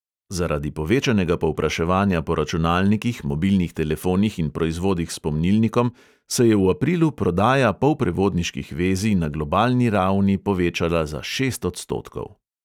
Zaradi povečanega povpraševanja po računalnikih, mobilnih telefonih in proizvodih s pomnilnikom se je v aprilu prodaja polprevodniških vezij na globalni ravni povečala za šest odstotkov.